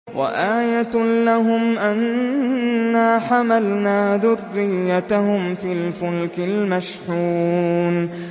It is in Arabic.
وَآيَةٌ لَّهُمْ أَنَّا حَمَلْنَا ذُرِّيَّتَهُمْ فِي الْفُلْكِ الْمَشْحُونِ